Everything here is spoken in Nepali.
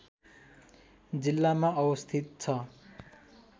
जिल्लामा अवस्थित छ